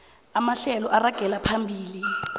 amahlelo aragela phambili